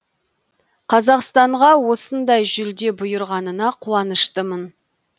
қазақстанға осындай жүлде бұйырғанына қуаныштымын